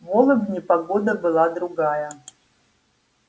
в лобне погода была другая